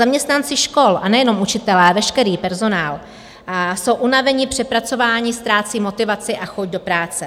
Zaměstnanci škol, a nejenom učitelé, veškerý personál, jsou unaveni, přepracovaní, ztrácejí motivaci a chuť do práce.